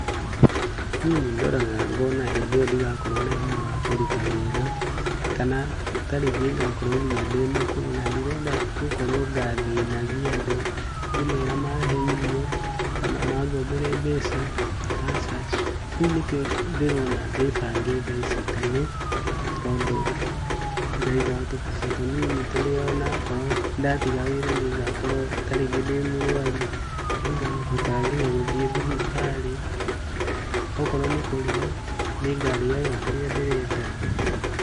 Niĩ nĩ ndoraga ngona hĩndĩ ĩyo ndĩgakorwo na hinya wa kũruta wĩra kana ta rĩngĩ ngakorwo ndĩ mũkũrũ, na ndĩrenda gũkorwo ngathĩnagia andũ ngĩmera mahe irio kana mangombere mbeca, aca, rĩu nĩkĩo ndĩrona ndĩbange thaici tene, tondũ ngaigaga tũmbeca tũnini tũrĩa ona korwo ndatiga wĩra nĩngakorwo ta rĩngĩ ndĩ mũrũaru, nĩngahotaga gũthiĩ thibitarĩ, okorwo nĩ kũria nĩngarĩaga kĩrĩa ndĩrenda.